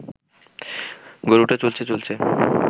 গরুটা চলছে চলছে